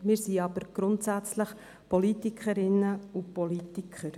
Wir sind aber grundsätzlich Politikerinnen und Politiker.